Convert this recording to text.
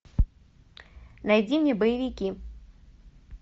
найди мне боевики